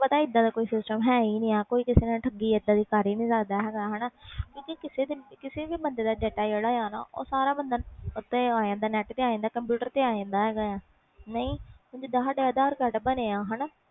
ਹੁਣ ਇਹਦਾ ਦਾ ਕੋਈ ਹੈ ਹੀ ਨਹੀਂ ਆ ਕੋਈ ਕਿਸੇ ਨਾਲ ਠੱਗੀ ਕਰ ਨਹੀਂ ਸਕਦਾ ਹੁਣ ਸਾਰਾ data net ਆ ਜਾਣਦਾ ਆ ਕੰਪਿਊਟਰ ਤੇ ਆ ਜਾਣਦਾ ਜੀਦਾ ਸਾਡੇ aadhar card